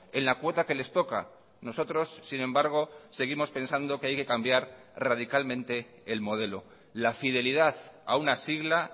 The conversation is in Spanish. en la cuota que les toca nosotros sin embargo seguimos pensando que hay que cambiar radicalmente el modelo la fidelidad a una sigla